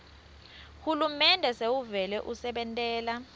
hulumende sewuvele usebentela